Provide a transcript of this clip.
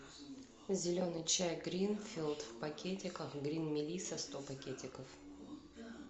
зеленый чай гринфилд в пакетиках грин мелисса сто пакетиков